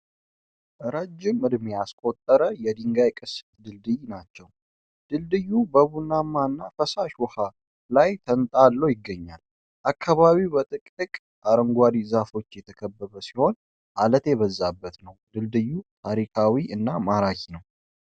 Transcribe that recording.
ረጅም እድሜ ያስቆጠረ የድንጋይ ቅስት ድልድይ ናቸው። ድልድዩ በቡናማ እና ፈሳሽ ውሃ ላይ ተንጣሎ ይገኛል ። አካባቢው በጥቅጥቅ አረንጓዴ ዛፎች የተከበበ ሲሆን፣ ዓለት የበዛበት ነው። ድልድዩ ታሪካዊ እና ማራኪ ነው።